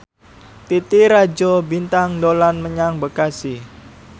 Titi Rajo Bintang dolan menyang Bekasi